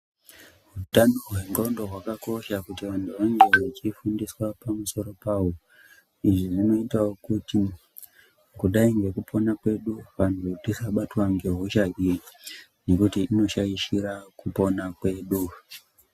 Hutano hwendxondo hwakakosha kuti antu ange echifundiswa pamusoro pawo. Izvi zvinoitawo kuti, kudai ngekupona kwedu, vantu tisabatwa ngehosha iyi nekuti inoshaishira kupona kwedu.